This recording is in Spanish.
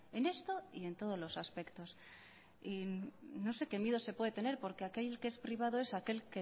en esto y en todos los aspectos no sé qué miedo se puede tener porque aquel que es privado es